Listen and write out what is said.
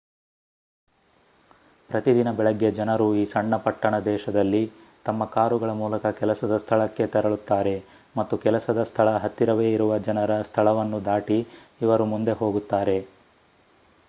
ಪ್ರತಿ ದಿನ ಬೆಳಗ್ಗೆ ಜನರು ಈ ಸಣ್ಣ ಪಟ್ಟಣ ದೇಶದಲ್ಲಿ ತಮ್ಮ ಕಾರುಗಳ ಮೂಲಕ ಕೆಲಸದ ಸ್ಥಳಕ್ಕೆ ತೆರಳುತ್ತಾರೆ ಮತ್ತು ಕೆಲಸದ ಸ್ಥಳ ಹತ್ತಿರವೇ ಇರುವ ಜನರ ಸ್ಥಳವನ್ನು ದಾಟಿ ಇವರು ಮುಂದೆ ಹೋಗುತ್ತಾರೆ